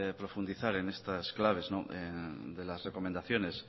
profundizar en estas claves de las recomendaciones